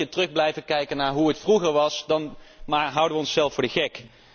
Dus als we een beetje terug blijven kijken naar hoe het vroeger was, dan houden we onszelf voor de gek.